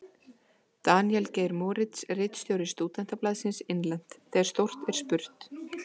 Daníel Geir Moritz, ritstjóri Stúdentablaðsins: Innlent: Þegar stórt er spurt.